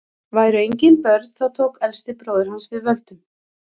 væru engin börn þá tók elsti bróðir hans við völdum